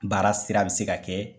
Baara sira bɛ se ka kɛ